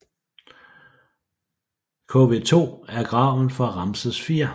KV2 er graven for Ramses IV